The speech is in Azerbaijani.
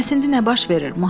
Bəs indi nə baş verir?